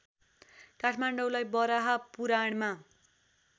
काठमाडौँलाई वराहपुराणमा